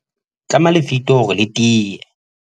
tlama lefito hore le tie